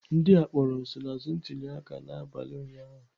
Ndị a kpọrọ nsonaazụ ntuliaka n'abalị ụnyahụ.